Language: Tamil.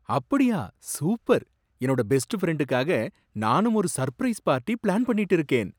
அப்படியா, சூப்பர்! என்னோட பெஸ்ட் பிரண்டுக்காக நாணும் ஒரு சர்ப்ரைஸ் பார்ட்டி பிளான் பண்ணிட்டு இருக்கேன்.